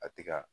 A ti ka